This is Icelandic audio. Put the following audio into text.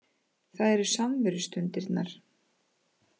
Það eru samverustundirnar